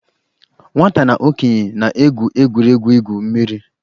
Nwata na okenye na-egwu egwuregwu igwu mmiri.